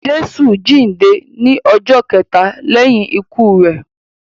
Jésù jíǹde ní ọjọ́ kẹta lẹ́yìn ikú rẹ.